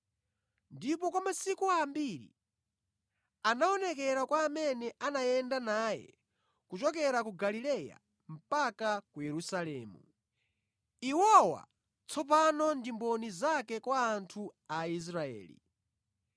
ndipo kwa masiku ambiri anaonekera kwa amene anayenda naye kuchokera ku Galileya mpaka ku Yerusalemu. Iwowa tsopano ndi mboni zake kwa anthu a Israeli.